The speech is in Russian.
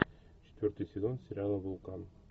четвертый сезон сериала вулкан